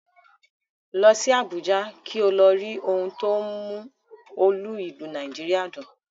Lọ sí Àbújá kí o lọ rí ohun tó ń mú olú ìlú Nàìjíríà dùn